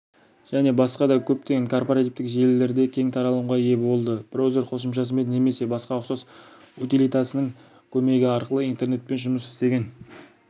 және басқа да көптеген корпоративтік желілерде кең таралымға ие болды-браузер қосымшасымен немесе басқа ұқсас утилитасының көмегі арқылы интернетпен жұмыс істеген